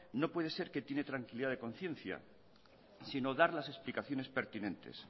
no puede ser que tiene tranquilidad de conciencia sino dar las explicaciones pertinentes